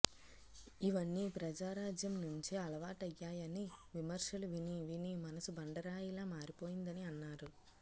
ఇవన్నీ ప్రజారాజ్యం నుంచే అలవాటయ్యాయని విమర్శలు వినీ వినీ మనసు బండరాయిలా మారిపోయిందని అన్నారు